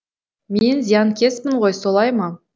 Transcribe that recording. мен зиянкеспін ғой солай ма